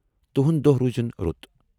تُہنٛد دۄہہ روٗزِن رُت۔